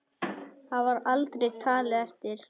Það var aldrei talið eftir.